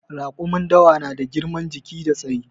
Raƙumin dawa na da girman jiki da tsayi